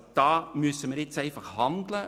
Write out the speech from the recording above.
Hier müssen wir einfach handeln.